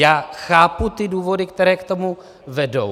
Já chápu ty důvody, které k tomu vedou.